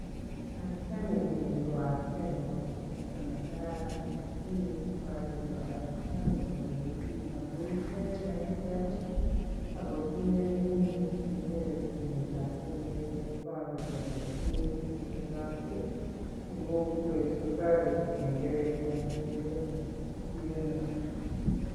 Arta nemiyuu ko artet neoo kabisaa nekararan lakini iboru kole artani koime biik amun ikere kakiker ak kotinye inendet kengelet nemii katit neiporu kolee imuchi kobetot en kokwet kotoreti kengelet kenai kelee mii anoo.